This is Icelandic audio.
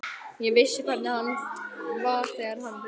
Ég vissi hvernig hann var þegar hann reiddist.